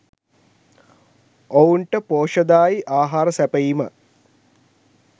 ඔවුන්ට පෝෂ්‍යදායී ආහාර සැපයීම